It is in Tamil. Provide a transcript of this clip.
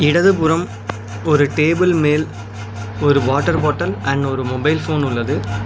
இடது புறம் ஒரு டேபிள் மேல் ஒரு வாட்டர் பாட்டில் அண்ட் ஒரு மொபைல் ஃபோன் உள்ளது.